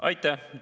Aitäh!